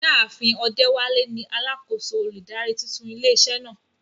Ìyá àfin Odewale ni alákòóso olùdarí tuntun ilé iṣẹ́ náà.